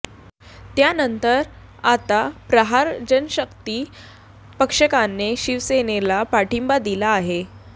त्यानंतर आता प्रहार जनशक्ती पक्षाने शिवसेनेला पाठिंबा दिला आहे